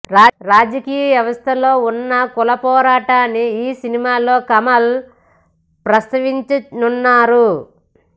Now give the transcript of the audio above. రాజకీయ వ్యవస్థలో ఉన్న కుల పోరాటాన్ని ఈ సినిమాలో కమల్ ప్రస్తావించనున్నారు